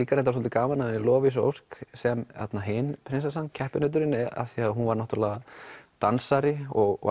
reyndar líka gaman að Lovísa Ósk sem hin prinsessan keppinauturinn því hún var náttúrulega dansari og